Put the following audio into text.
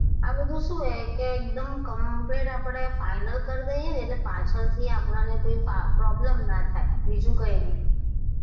આ બધુ શું છે કે એકદમ complete આપડે final કરી દઈએ એટલે આપડે પાછળથી આપડાને કઈ problem ના થાય બીજું કઈ નહીં.